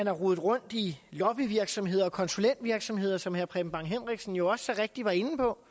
har rodet rundt i lobbyvirksomheder og konsulentvirksomheder som herre preben bang henriksen jo også så rigtigt var inde på